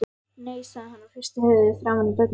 Nei, sagði hann og hristi höfuðið framan í börnin.